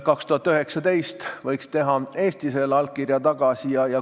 2019. aastal võiks Eesti oma allkirja tagasi võtta.